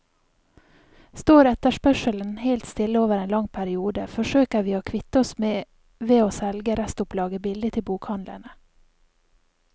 Står etterspørselen helt stille over en lang periode, forsøker vi å kvitte oss med ved å selge restopplaget billig til bokhandlene.